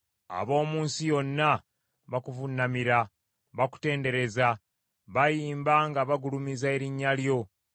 Ab’omu nsi yonna bakuvuunamira, bakutendereza, bayimba nga bagulumiza erinnya lyo.”